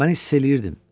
Mən hiss eləyirdim.